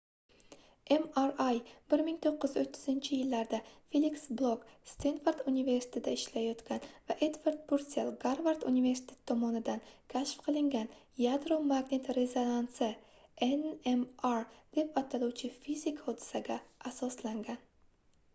mri 1930-yillarda feliks blok stenford universitetida ishlayotgan va edvard pursell garvard universitetidan tomonidan kashf qilingan yadro-magnit rezonansi nmr deb ataluvchi fizik hodisaga asoslangan